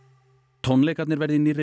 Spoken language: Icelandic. tónleikarnir verða í nýrri